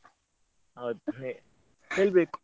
ಹೌದ ಅದೇ ಹೇಳ್ಬೇಕು.